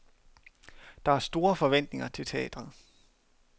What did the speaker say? Der er store forventninger til teatret.